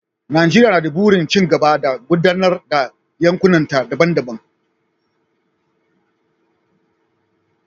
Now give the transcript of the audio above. Najeriya na da burin ci gaba da gudanar da yankunanta daban-daban.